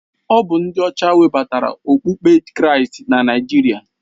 Ọ bụ ndị ọcha webatara okpukpe kristi na Naịjirịa.